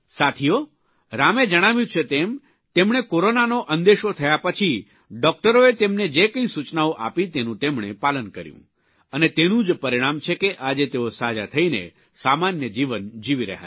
સાથીઓ રામે જણાવ્યું છે તેમ તેમણે કોરોનાનો અંદેશો થયા પછી ડૉકટરોએ તેમને જે કંઇ સૂચનાઓ આપી તેનું તેમણે પાલન કર્યું અને તેનું જ પરિણામ છે કે આજે તેઓ સાજા થઇને સામાન્ય જીવન જીવી રહ્યા છે